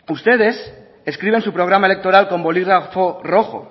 ustedes escriben su programa electoral con bolígrafo rojo